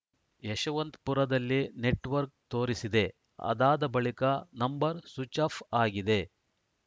ಯಶವಂತಪುರದಲ್ಲಿ network ತೋರಿಸಿದೆ ಅದಾದ ಬಳಿಕ ನಂಬರ್‌ ಸ್ವಿಚ್‌ ಆಫ್‌ ಆಗಿದೆ